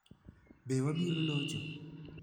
Be "Wabiro Locho"?